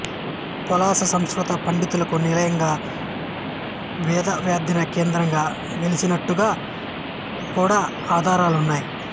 పొలాస సంస్కృత పండితులకు నిలయంగా వేదాధ్యయన కేంద్రంగా విలసిల్లినట్టుగా కూడా ఆధారాలున్నాయి